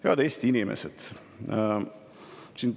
Head Eesti inimesed!